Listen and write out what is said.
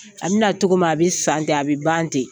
A bɛna na cogomin na a bɛ san ten a bɛ ban ten,